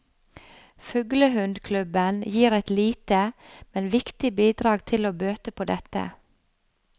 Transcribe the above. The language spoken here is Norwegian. Fuglehundklubben gir et lite, men viktig bidrag til å bøte på dette.